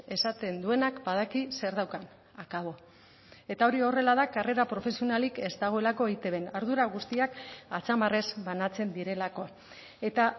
esaten duenak badaki zer daukan akabo eta hori horrela da karrera profesionalik ez dagoelako eitbn ardura guztiak atzamarrez banatzen direlako eta